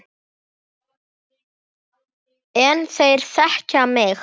En þeir þekkja mig.